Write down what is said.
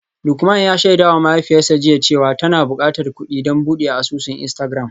Lukman ya shaidawa mahaifiyarsa jiya cewa tana bukatar kudi don bude asusun Instagram.